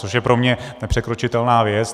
Což je pro mě nepřekročitelná věc.